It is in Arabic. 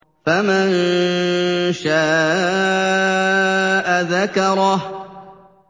فَمَن شَاءَ ذَكَرَهُ